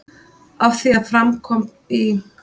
Að því er fram kom í